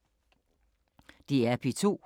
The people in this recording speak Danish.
DR P2